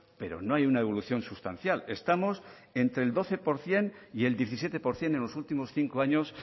pero no hay una evolución sustancial estamos entre el doce por ciento y el diecisiete por ciento en los últimos cinco años